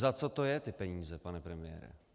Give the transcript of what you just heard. Za co to je, ty peníze, pane premiére?